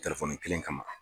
Telefoni kelen kama.